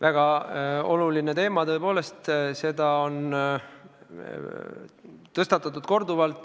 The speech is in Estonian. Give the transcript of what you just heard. Väga oluline teema tõepoolest, seda on tõstatatud korduvalt.